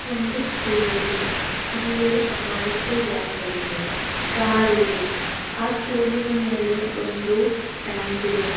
ಒಂದು ಸ್ಕೂಲ್ ಇದೆ ಅಲ್ಲಿ ಬಹಳಷ್ಟು ವ್ಯಾನ್ಗಳಿವೆ ಕಾರಿವೆ ಆ ಸ್ಕೂಲಿನ ಮೇಲೆ ಒಂದು ಟ್ಯಾಂಕ್ ಇದೆ.